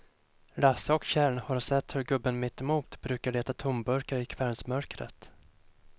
Lasse och Kjell har sett hur gubben mittemot brukar leta tomburkar i kvällsmörkret.